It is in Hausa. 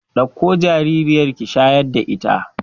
Ɗakko jaririyar ki shayar da ita